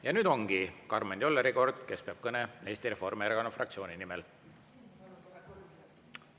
Ja nüüd ongi Karmen Jolleri kord, kes peab kõne Eesti Reformierakonna fraktsiooni nimel.